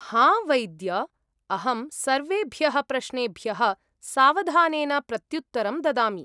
हां, वैद्य! अहं सर्वेभ्यः प्रश्नेभ्यः सावधानेन प्रत्युत्तरं ददामि।